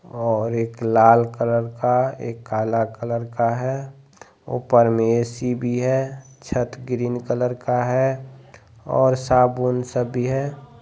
और एक लाल कलर का एक काला कलर का है ऊपर में ए.सी. भी है छत ग्रीन कलर का है और साबुन सब भी है।